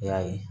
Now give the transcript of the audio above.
I y'a ye